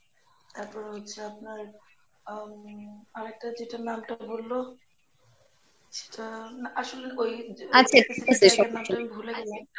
তারপরে হচ্ছে আপনার আহ উম আরেকটা যেটার নাম বল্লো সেটা আসলে